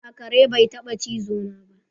A'a, kare bai taba chizo na ba.